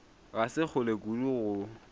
ga se kgole kudu go